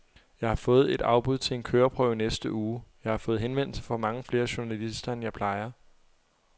Jeg har fået et afbud til en køreprøve i næste uge. Jeg har fået henvendelse fra mange flere journalister end jeg plejer.